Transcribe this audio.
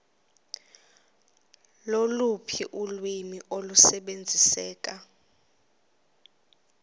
loluphi ulwimi olusebenziseka